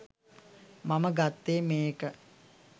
මම ගත්තේ මේ එක